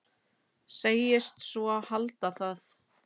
Segist svo halda það.